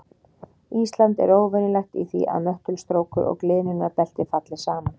Ísland er óvenjulegt í því að möttulstrókur og gliðnunarbelti falli saman.